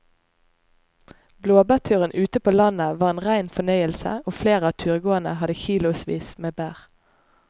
Blåbærturen ute på landet var en rein fornøyelse og flere av turgåerene hadde kilosvis med bær.